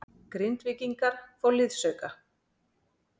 Grindvíkingar fá liðsauka